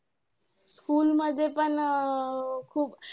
School मध्ये पण अं खूप